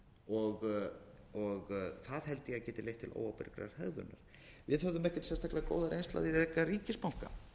og það held ég að geti leitt til óábyrgrar hegðunar við höfðum ekkert sérstaklega góða reynslu af því að reka ríkisbanka